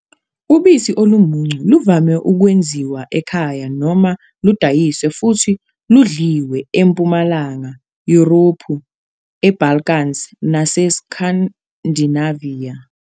Ubisi olumuncu luvame ukwenziwa ekhaya noma ludayiswe futhi ludliwe eMpumalanga Yurophu, eBalkans naseScandinavia.